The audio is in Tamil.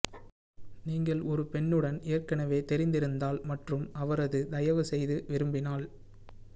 நீங்கள் ஒரு பெண்ணுடன் ஏற்கனவே தெரிந்திருந்தால் மற்றும் அவரது தயவு செய்து விரும்பினால்